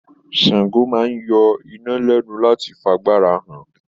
Sango máa n yọ iná lẹnu láti f'àgbàrá hàn.